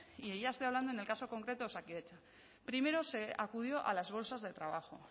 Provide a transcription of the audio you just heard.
y ya estoy hablando en el caso concreto de osakidetza primero se acudió a las bolsas de trabajo